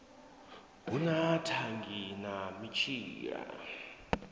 hu na thangi na mitshila